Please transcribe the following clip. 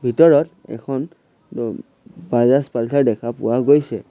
ভিতৰত এখন ওম বাজাজ পালচাৰ দেখা পোৱা গৈছে।